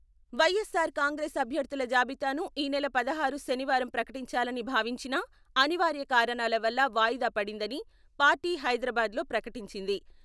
వైఎస్సార్ కాంగ్రెస్ అభ్యర్థుల జాబితాను ఈ నెల పదహారు శనివారం ప్రకటించాలని భావించినా, అనివార్య కారణాల వల్ల వాయిదా పడిందని పార్టీ హైదరాబాద్లో ప్రకటించింది.